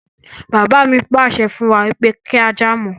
Bàbá mi pàṣẹ fún wa pé kí á jà mọ́